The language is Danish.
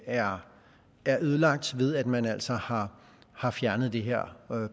er ødelagt ved at man altså har har fjernet det her